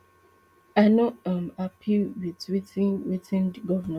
i no um happy wit wetin wetin di govnor do